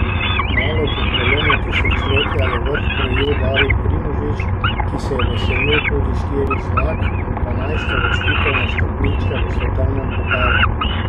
Kmalu po prelomu tisočletja je vrh krojil David Primožič, ki se je veselil tudi štirih zmag in dvanajstih uvrstitev na stopničke v svetovnem pokalu.